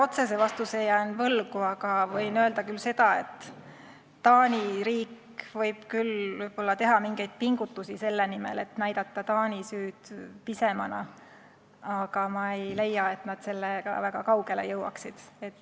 Ma otsese vastuse jään jälle võlgu, aga võin öelda, et Taani riik võib küll teha pingutusi selle nimel, et näidata Taani süüd pisemana, aga ma ei leia, et nad sellega väga kaugele jõuaksid.